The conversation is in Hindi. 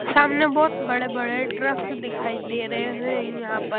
सामने बहुत बड़े-बड़े ट्रक दिखाई दे रहे हैं यहां पर--